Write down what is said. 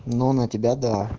но на тебя да